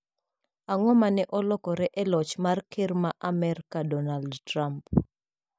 Ang`o ma ne olokore e loch mar ker ma Amerka Donald Trump?